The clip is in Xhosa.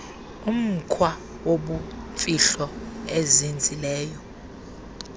umkhwa wobumfihlo ozinzileyo